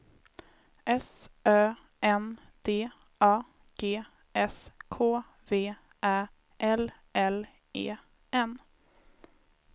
S Ö N D A G S K V Ä L L E N